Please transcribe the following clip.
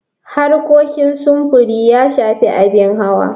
Harkokin sufuri ya shafi abin hawa.